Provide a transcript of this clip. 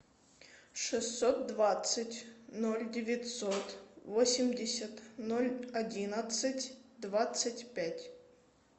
шестьсот двадцать ноль девятьсот восемьдесят ноль одиннадцать двадцать пять